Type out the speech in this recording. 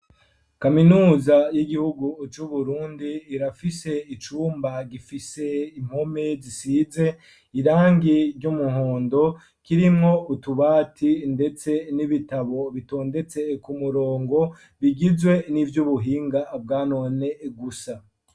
Kaminuza y'igihugu c'uburundi irafise icumba gifise impome zisize irangi ry'umuhondo kirimwo utubati, ndetse n'ibitabo bitondetse kumurongo bigizwe n'ivyubuhinga bwanone gusa.